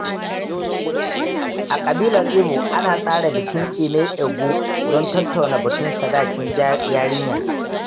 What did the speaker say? A ƙabilar Igbo, ana tsara bikin Ime Ego don tattauna batun sadakin yarinya.